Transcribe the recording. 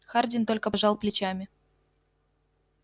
хардин только пожал плечами